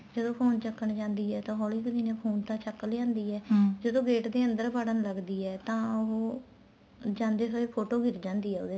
ਫ਼ੇਰ ਉਹ phone ਚੱਕਣ ਜਾਂਦੀ ਆ ਤਾਂ ਹੋਲੀ ਕ਼ ਦਿਨੇ phone ਤਾਂ ਚੱਕ ਲਿਆਦੀ ਏ ਜਦੋਂ gate ਦੇ ਅੰਦਰ ਵਾੜਨ ਲੱਗਦੀ ਏ ਤਾਂ ਉਹ ਜਾਂਦੇ ਹੋਏ ਫ਼ੋਟੋ ਗਿਰ ਜਾਂਦੀ ਏ ਉਹਦੇ ਤੋ